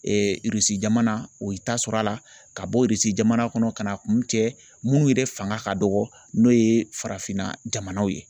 Irisi jamana o y'i ta sɔr'a la , ka bɔ Irisi jamana kɔnɔ ka n'a kun cɛ minnu yɛrɛ fanga ka dɔgɔ n'o ye farafinna jamanaw ye